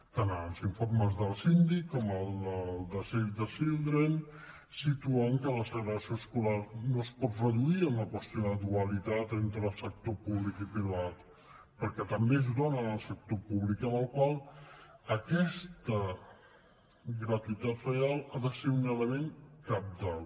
tant els informes del síndic com el de save the children situen que la segregació escolar no es pot reduir a una qüestió de dualitat entre el sector públic i privat perquè també és dóna en el sector públic amb la qual cosa aquesta gratuïtat real ha de ser un element cabdal